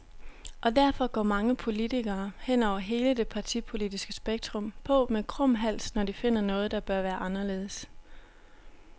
Og derfor går mange politikere, hen over hele det partipolitiske spektrum, på med krum hals, når de finder noget, der bør være anderledes.